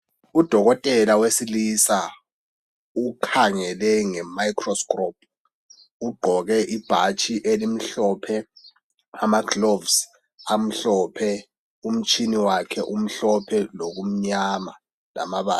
Udokotela wesilisa ukhangele ngemicro scrope uqgoke ibhatshi elimhlophe ,amagloves amhlophe umtshini wakhe uhlophe lokumnyama